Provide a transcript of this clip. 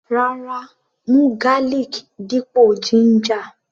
Rárá, mú garlic dípò ginger.